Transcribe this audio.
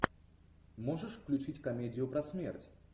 можешь включить комедию про смерть